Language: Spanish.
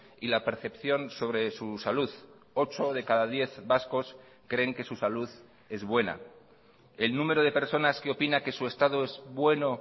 y la percepción sobre su salud ocho de cada diez vascos creen que su salud es buena el número de personas que opina que su estado es bueno